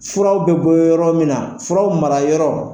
Furaw bɛ bɔ yɔrɔ min na furaw marayɔrɔ.